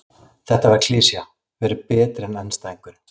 Þetta svar var klisja: Vera betri en andstæðingurinn.